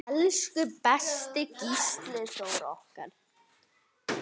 Elsku besti Gísli Þór okkar.